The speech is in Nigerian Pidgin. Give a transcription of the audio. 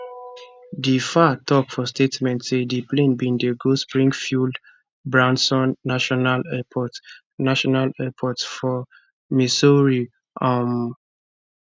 di faa tok for statement say di plane bin dey go springfieldbranson national airport national airport for missouri um